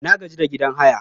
Na gaji da gidan haya